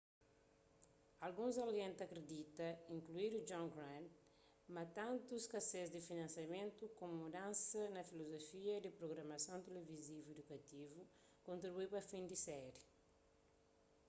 alguns algen ta kridita inkluidu john grant ma tantu skasez di finansiamentu komu mudansa na filozofia di prugramason tilivizivu idukativu kontribui pa fin di séri